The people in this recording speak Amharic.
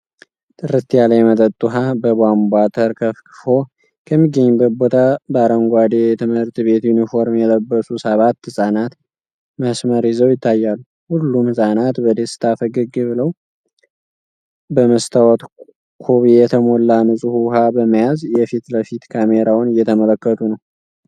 ጥርት ያለ የመጠጥ ውሃ በቧንቧ ተርከፍክፎ ከሚገኝበት ቦታ ላይ በአረንጓዴ የትምህርት ቤት ዩኒፎርም የለበሱ ሰባት ህፃናት መስመር ይዘው ይታያሉ። ሁሉም ህፃናት በደስታ ፈገግ ብለው፣ በመስታወት ኮብ የሞላ ንፁህ ውሃ በመያዝ የፊት ለፊት ካሜራውን እየተመለከቱ ነው።